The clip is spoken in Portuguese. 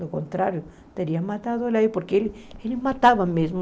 Do contrário, teria matado ele aí, porque ele matava mesmo.